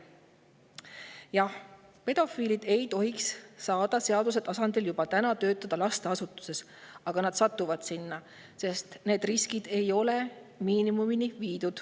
Jah, pedofiilid ei tohi ka praegu seaduse järgi lasteasutuses töötada, aga nad satuvad sinna, sest riskid ei ole viidud miinimumini.